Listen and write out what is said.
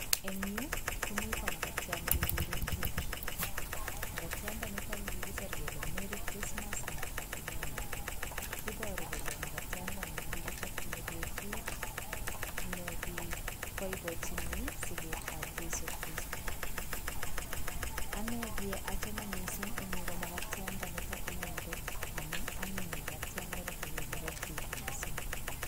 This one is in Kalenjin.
Eng'yu komito magatiat nekegure keki , magatianda niitok kigisir kele merry christmas and happy new year. Ibooru kole magatianda ni kikichopchini beetut nikigiboiboichini siget ap cheiso kristo. Anee kie achame miising' ing'yu komagatiandanitok inendet amu anyiny magatiandani keguure keki miising'